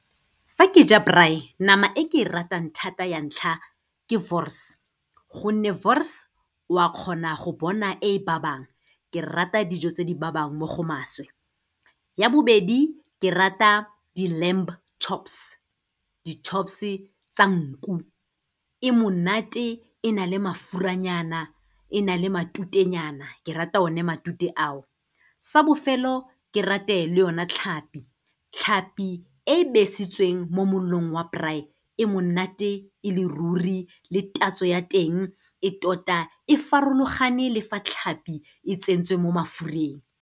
Fa ke ja braai, nama e ke e ratang thata ya ntlha, ke wors gonne wors o a kgona go bona e ba bang, ke rata dijo tse di ba bang mo go maswe. Ya bobedi ke rata di-lamb chops, di-chops-e tsa nku. E monate, e na le mafuranyana, e na le matutenyana, ke rata one matute ao. Sa bofelo, ke rate le yona tlhapi. Tlhapi e besitsweng mo molelong wa braai, e monate e le ruri le tatso ya teng, e tota e farologane lefa tlhapi e tsentswe mo mafureng.